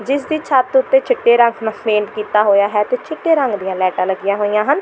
ਜਿਸ ਦੀ ਛੱਤ ਉੱਤੇ ਚਿੱਟੇ ਰੰਗ ਨਾਲ ਪੇਂਟ ਕੀਤਾ ਹੋਇਆ ਹੈ ਤੇ ਚਿੱਟੇ ਰੰਗ ਦੀਆਂ ਲਾਈਟਾਂ ਲੱਗੀਆਂ ਹੋਈਆਂ ਹਨ।